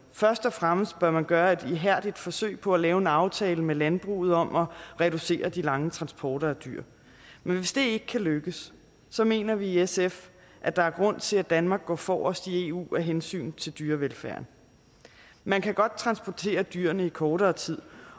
først og fremmest bør man gøre et ihærdigt forsøg på at lave en aftale med landbruget om at reducere de lange transporter af dyr men hvis det ikke kan lykkes mener vi i sf at der er grund til at danmark går forrest i eu af hensyn til dyrevelfærden man kan godt transportere dyrene i kortere tid